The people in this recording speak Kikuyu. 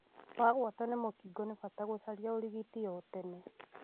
Wagwatio mũkingo nĩ bata gũcaria ũrigiti o tene.